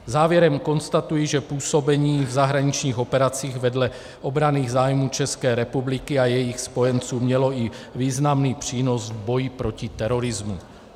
Závěrem konstatuji, že působení v zahraničních operacích vedle obranných zájmů České republiky a jejich spojenců mělo i významný přínos v boji proti terorismu.